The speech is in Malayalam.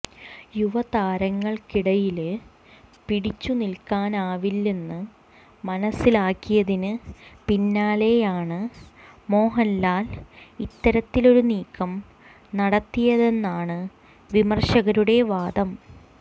യുവതാരങ്ങള്ക്കിടയില് പിടിച്ചുനില്ക്കാനാവില്ലെന്ന് മനസ്സിലാക്കിയതിന് പിന്നാലെയായാണ് മോഹന്ലാല് ഇത്തരത്തിലൊരു നീക്കം നടത്തിയതെന്നാണ് വിമര്ശകരുടെ വാദം